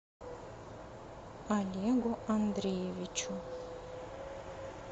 олегу андреевичу